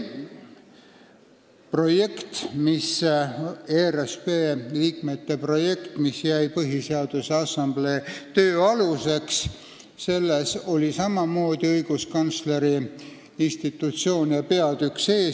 ERSP liikmete projektis, mis jäi Põhiseaduse Assamblee töö aluseks, oli samamoodi õiguskantsleri institutsiooni peatükk sees.